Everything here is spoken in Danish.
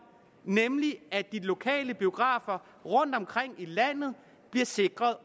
nemlig at de lokale biografer rundtomkring i landet bliver sikret